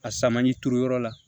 A samali turuyɔrɔ la